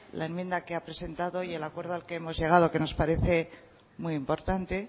la enmienda que ha presentado y al acuerdo al que hemos llegado que nos parece muy importante